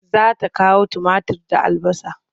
Za ta kawo tumatir da albasa.